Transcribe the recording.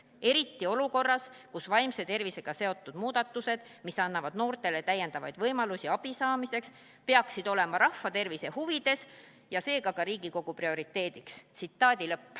Seda eriti olukorras, kus vaimse tervisega seotud muudatused, mis annavad noortele täiendavaid võimalusi abi saamiseks, peaksid olema rahva tervise huvides ja seega ka Riigikogu prioriteediks.